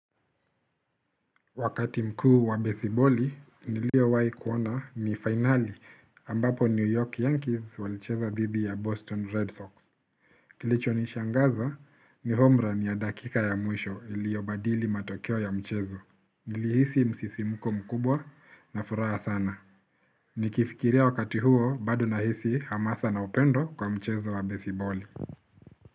Wakati mkuu wa besiboli niliowahi kuona ni finali ambapo New York Yankees walicheza dhidi ya Boston Red Sox. Kilicho nishangaza ni home ran ya dakika ya mwisho iliobadili matokeo ya mchezo. Nilihisi msisimko mkubwa na furaha sana. Nikifikiria wakati huo bado nahisi hamasa na upendo kwa mchezo wa besiboli.